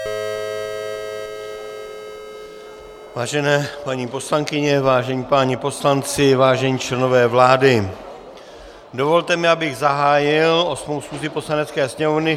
Vážené paní poslankyně, vážení páni poslanci, vážení členové vlády, dovolte mi, abych zahájil osmou schůzi Poslanecké sněmovny.